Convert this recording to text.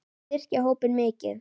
Þeir styrkja hópinn mikið.